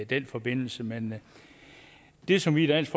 den forbindelse men det som vi i dansk